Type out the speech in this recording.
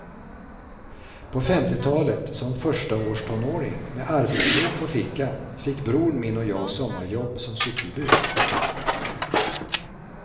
På femtiotalet, som förstaårstonåring med arbetsbok på fickan fick bror min och jag sommarjobb som cykelbud.